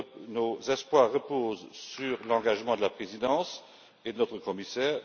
Nos espoirs reposent sur l'engagement de la présidence et de notre commissaire.